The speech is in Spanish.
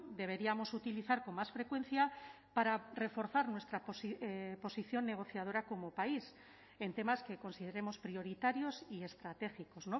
deberíamos utilizar con más frecuencia para reforzar nuestra posición negociadora como país en temas que consideremos prioritarios y estratégicos